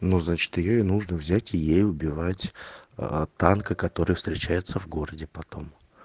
ну значит её и нужно взять и ей убивать танка который встречается в городе потом